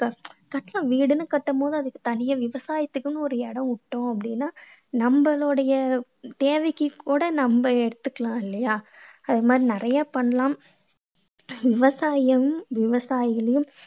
வீடுன்னு கட்டும் போது அதுக்கு தனியா விவசாயத்துக்குன்னு ஒரு இடம் விட்டோம் அப்படீன்னா நம்மளுடைய தேவைக்கு கூட நம்ம எடுத்தக்கலாம் இல்லையா? அது மாதிரி நிறைய பண்ணலாம். விவசாயம் விவசாயிகளையும்